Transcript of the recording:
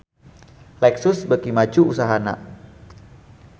Lexus beuki maju usahana